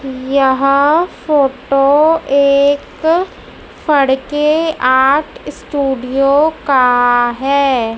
यह फोटो एक स्टूडियो का है।